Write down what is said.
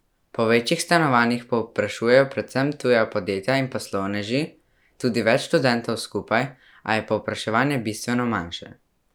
Po večjih stanovanjih povprašujejo predvsem tuja podjetja in poslovneži, tudi več študentov skupaj, a je povpraševanje bistveno manjše.